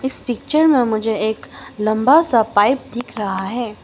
इस पिक्चर में मुझे एक लंबा सा पाइप दिख रहा है।